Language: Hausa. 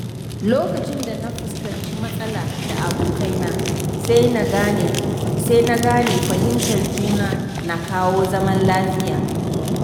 Lokacin da na fuskanci matsala da abokai na, sai na gane fahimtar juna na kawo zaman lafiya.